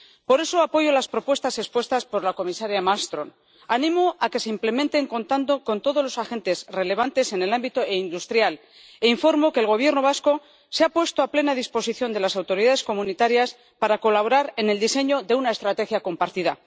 Por eso, apoyo las propuestas expuestas por la comisaria Malmström, animo a que se implementen contando con todos los agentes relevantes en el ámbito industrial, e informo de que el Gobierno vasco se ha puesto a plena disposición de las autoridades comunitarias para colaborar en el diseño de una estrategia compartida.